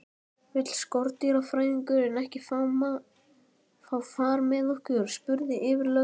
Vill skordýrafræðingurinn ekki fá far með okkur? spurði yfirlögregluþjónninn vingjarnlega.